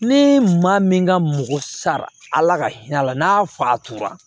Ni maa min ka mɔgɔ sara ala ka hinɛ a la n'a fa tora